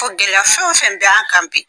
Ko gɛlɛya fɛn o fɛn bɛ an kan bi.